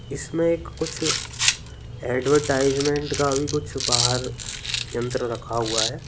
इसमें कुछ एडवर्टाइजमेंट का भी कुछ बाहर यंत्र रखा हुआ है।